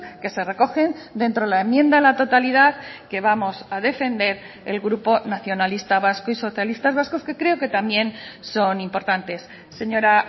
que se recogen dentro de la enmienda a la totalidad que vamos a defender el grupo nacionalista vasco y socialistas vascos que creo que también son importantes señora